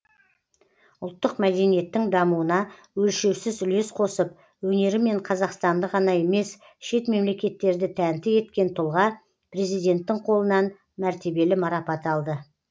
ұлттық мәдениеттің дамуына өлшеусіз үлес қосып өнерімен қазақстанды ғана емес шет мемлекеттерді тәнті еткен тұлға президенттің қолынан мәртебелі марапат алды